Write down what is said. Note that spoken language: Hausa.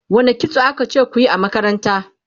wani kitso akace kuyi a makaranta?